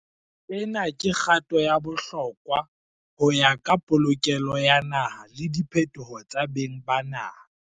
"Ena ke kgato ya bohlokwa ho ya ka polokelo ya naha le diphetoho tsa beng ba naha."